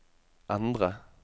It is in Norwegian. endre